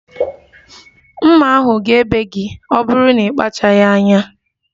Mma ahu ga-ebe gi ma ọ bụrụ n'ikpachaghi anya